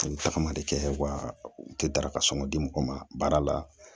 A bɛ tagama de kɛ wa u tɛ daraka sɔnko di mɔgɔ ma baara la